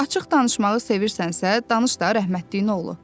Açıq danışmağı sevirsənsə, danış da rəhmətliyin oğlu.